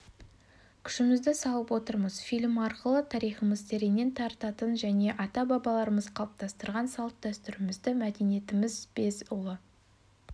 күшімізді салып отырмыз фильм арқылы тарихымыз тереңнен тартатынын және ата-бабаларымыз қалыптастырған салт-дәстүрімізді мәдениетіміз без ұлы